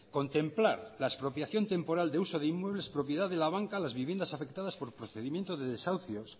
contemplar la expropiación temporal de uso de inmuebles propiedad de la banca las viviendas afectadas por procedimiento de desahucios